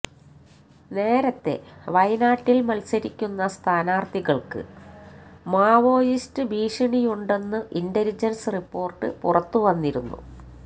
നേരത്തെ വയനാട്ടില് മത്സരിക്കുന്ന സ്ഥാനാര്ഥികള്ക്ക് മാവോയിസ്റ്റു ഭീഷണിയുണ്ടെന്നു ഇന്റലിജന്സ് റിപ്പോര്ട്ടു പുറത്തുവന്നിരുന്നു